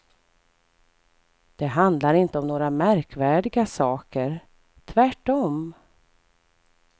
Det handlar inte om några märkvärdiga saker, tvärtom.